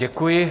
Děkuji.